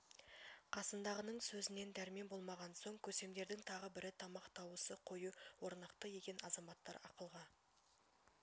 қасындағының сөзінен дәрмен болмаған соң көсемдердің тағы бірі тамақ дауысы қою орнықты екен азаматтар ақылға